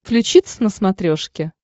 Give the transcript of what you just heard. включи твз на смотрешке